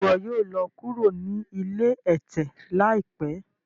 Ṣe iwọ yoo lọ kuro ni ilé ẹtẹ laipẹ?